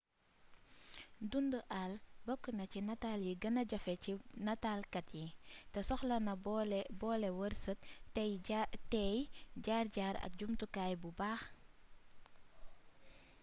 dund àll bokk na ci nataal yi gëna jafe ci nataalkat yi te soxlo na boole wërsëg teey jaar-jaar ak jumtukaay bu baax